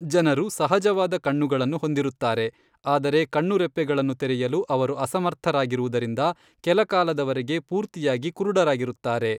ಜನರು ಸಹಜವಾದ ಕಣ್ಣುಗಳನ್ನು ಹೊಂದಿರುತ್ತಾರೆ, ಆದರೆ ಕಣ್ಣುರೆಪ್ಪೆಗಳನ್ನು ತೆರೆಯಲು ಅವರು ಅಸಮರ್ಥರಾಗಿರುವುದರಿಂದ ಕೆಲಕಾಲದವರೆಗೆ ಪೂರ್ತಿಯಾಗಿ ಕುರುಡರಾಗಿರುತ್ತಾರೆ.